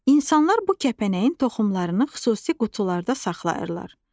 İnsanlar bu kəpənəyin toxumlarını xüsusi qutularda saxlayırlar.